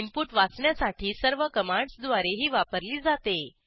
input वाचण्यासाठी सर्व कमांडसद्वारे ही वापरली जाते